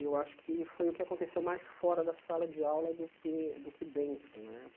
Eu acho que foi o que aconteceu mais fora da sala de aula do que do que dentro, né?